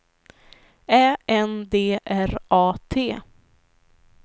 Ä N D R A T